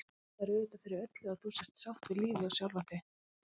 Það er auðvitað fyrir öllu að þú sért sátt við lífið og sjálfa þig.